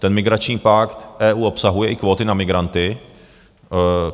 Ten migrační pakt EU obsahuje i kvóty na migranty.